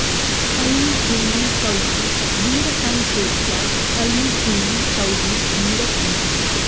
ऐं क्लीं सौः वीरसंसेव्या ऐं क्लीं सौः वीरपूजिता